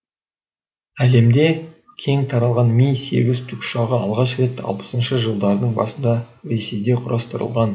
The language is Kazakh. әлемде кең таралған ми сегіз тікұшағы алғаш рет алпысыншы жылдардың басында ресейде құрастырылған